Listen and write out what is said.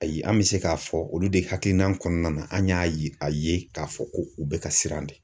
Ayi an bɛ se k'a fɔ olu de hakilina kɔnɔna na an y'a ye a ye k'a fɔ ko u bɛ ka siran de.